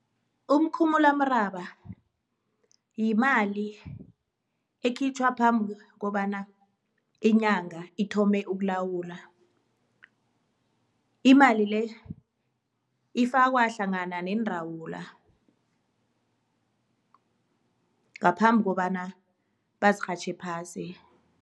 Umkhumulamraba yimali ekhitjhwa phambi kobana inyanga ithome ukulawula, imali le ifakwa hlangana neendawula ngaphambi kobana bazirhatjhe phasi.